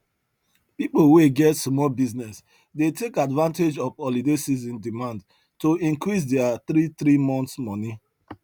pipo wey get small business dey take advantage of holiday season demand to increase deir three three month moni